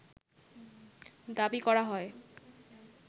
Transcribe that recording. দাবি করা হয়